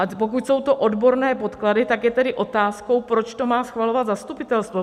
A pokud jsou to odborné podklady, tak je tady otázkou, proč to má schvalovat zastupitelstvo.